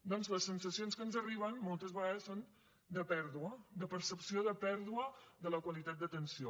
doncs les sensacions que ens arriben moltes vegades són de pèrdua de percepció de pèrdua de la qualitat d’atenció